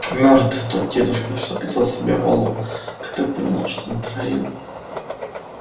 мёртв тот дедушка что отрезал себе голову когда понял что натворил